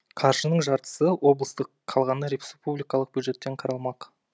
қаржының жартысы облыстық қалғаны республикалық бюджеттен қаралмақ